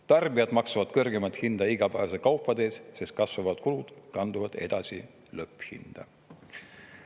Tarbijad maksavad kõrgemat hinda igapäevaste kaupade eest, sest kasvavad kulud kanduvad edasi lõpphinda.